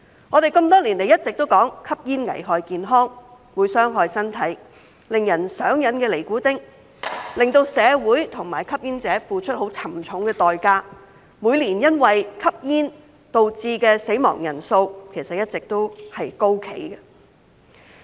我們多年來一直都說吸煙危害健康，會傷害身體，令人上癮的尼古丁，會令社會及吸煙者付出沉重的代價，而每年因為吸煙導致死亡的人數一直高企。